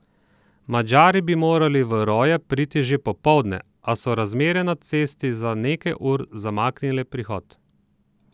Madžari bi morali v Roje priti že popoldne, a so razmere na cesti za nekaj ur zamaknile prihod.